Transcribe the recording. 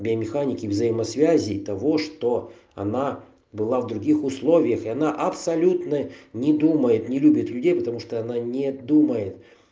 биомеханики взаимосвязей того что она была в других условиях и она абсолютно не думает не любит людей потому что она не думает